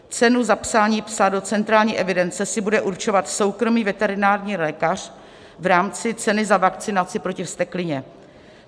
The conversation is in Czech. Cenu zapsání psa do centrální evidence si bude určovat soukromý veterinární lékař v rámci ceny za vakcinaci proti vzteklině.